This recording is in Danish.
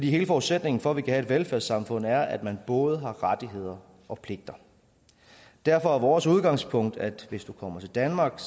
hele forudsætningen for at vi kan have et velfærdssamfund er at man både har rettigheder og pligter derfor er vores udgangspunkt at hvis du kommer til danmark